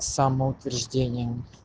самоутверждение